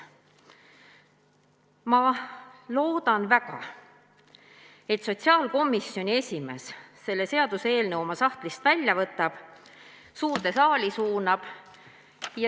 Ma loodan väga, et sotsiaalkomisjoni esimees võtab selle seaduseelnõu oma sahtlist välja ja suunab suurde saali.